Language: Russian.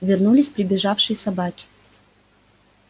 вернулись прибежавшие собаки